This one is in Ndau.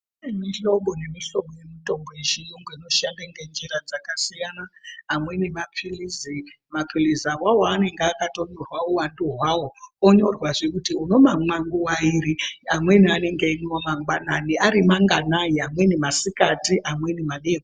Kune mihlobo nemihlobo yemitombo yechiyungu inoshanda ngenjira dzakasiyana. Amweni maphilizi. Maphilizi awawo anenge akatonyorwa uwandu hwawo onyorwazve kuti unomamwa nguwa iri. Amweni anenge emwiwa mangwanani ari mangani, amweni masikati, amweni madekoni.